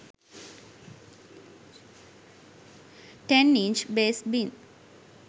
10 inch bass bin